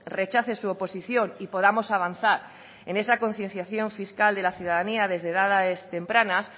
rechace su oposición y podamos avanzar en esa concienciación fiscal de la ciudadanía desde edades tempranas